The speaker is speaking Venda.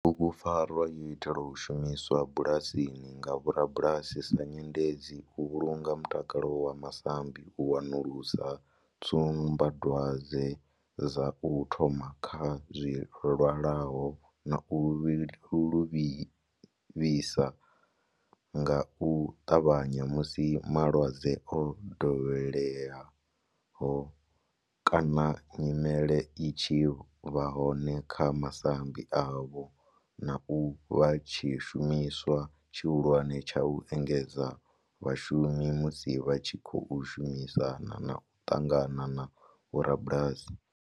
Bugupfarwa yo itelwa u shumiswa bulasini nga vhorabulasi sa nyendedzi u vhulunga mutakalo wa masambi, u wanulusa tsumbadwadzwe dza u thoma kha zwilwalaho na u livhisa nga u tavhanya musi malwadze o dovheleaho kana nyimele i tshi vha hone kha masambi avho, na u vha tshishumiswa tshihulwane tsha u engedzedza vhashumi musi vha tshi khou shumisana na u ṱangana na vhorabulasi.